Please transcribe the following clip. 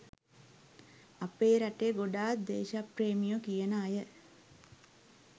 අපේ රටේ ගොඩක් දේශප්‍රේමියො කියන අය